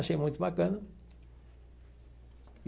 Achei muito bacana.